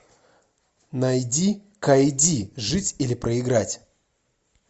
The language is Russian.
найди кайдзи жить или проиграть